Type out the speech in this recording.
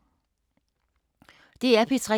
DR P3